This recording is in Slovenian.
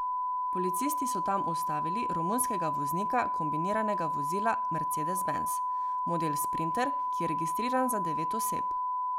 Policisti so tam ustavili romunskega voznika kombiniranega vozila mercedes benz, model sprinter, ki je registriran za devet oseb.